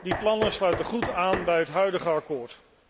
Die plannen sluiten goed aan bij het huidige akkoord.